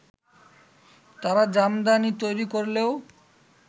তারা জামদানি তৈরি করলেও